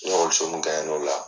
Ni ekɔliso mun n'o la